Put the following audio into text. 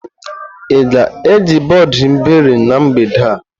Ị ga-eji bọọdụ iberi na mgbede a?